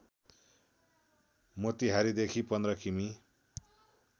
मोतिहारीदेखि १५ किमि